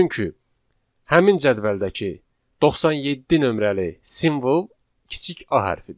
Çünki həmin cədvəldəki 97 nömrəli simvol kiçik A hərfidir.